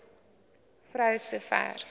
vrou so ver